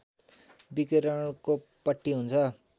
विकिरणको पट्टी हुन्छ